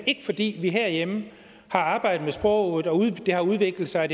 ikke fordi vi herhjemme har arbejdet med sproget og det har udviklet sig og